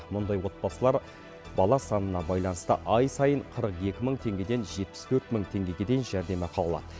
мұндай отбасылар бала санына байланысты ай сайын қырық екі мың теңгеден жетпіс төрт мың теңгеге дейін жәрдемақы алады